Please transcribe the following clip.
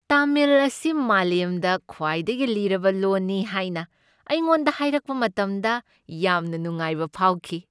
ꯇꯥꯃꯤꯜ ꯑꯁꯤ ꯃꯥꯂꯦꯝꯗ ꯈ꯭ꯋꯥꯏꯗꯒꯤ ꯂꯤꯔꯕ ꯂꯣꯟꯅꯤ ꯍꯥꯏꯅ ꯑꯩꯉꯣꯟꯗ ꯍꯥꯏꯔꯛꯄ ꯃꯇꯝꯗ ꯌꯥꯝꯅ ꯅꯨꯡꯉꯥꯏꯕ ꯐꯥꯎꯈꯤ ꯫